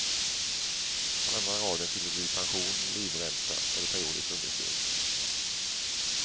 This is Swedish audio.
På andra raden fyller du i pension, livränta eller periodiskt understöd.